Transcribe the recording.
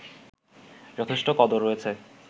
যথেষ্ট কদর রয়েছে